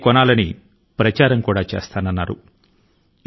అంటే ఆమె యొక్క గొంతు ను కలపడానికి కూడా సిద్ధం గా ఉంది అని ఆ లేఖ సారాంశం